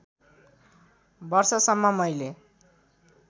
वर्षसम्म मैले